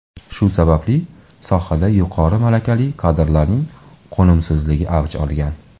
Shu sababli sohada yuqori malakali kadrlarning qo‘nimsizligi avj olgan.